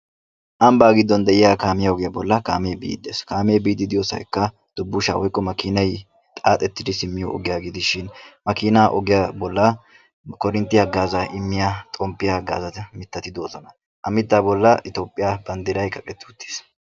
Ambba gidon de'iya kaamiya ogiyan daro kaametti de'osonna. Ha kaamettu matan cora toophiya banddiray qakketti uttiis.